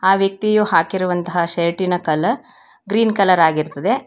ಆ ವ್ಯಕ್ತಿಯು ಹಾಕಿರುವಂತಹ ಶಿರ್ಟಿನ ಕಲರ್ ಗ್ರೀನ್ ಕಲರ್ ಆಗಿರತ್ತದೆ.